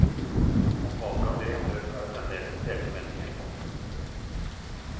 Om valget av direktør er det fremdeles delte meninger. punktum